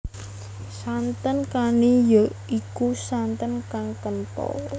Santen kani ya iku santen kang kenthel